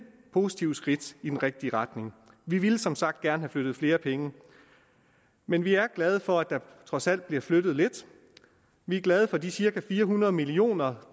positivt skridt i den rigtige retning vi ville som sagt gerne have flyttet flere penge men vi er glade for at der trods alt bliver flyttet lidt vi er glade for de cirka fire hundrede millioner